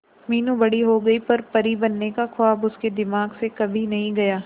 मीनू बड़ी हो गई पर परी बनने का ख्वाब उसके दिमाग से कभी नहीं गया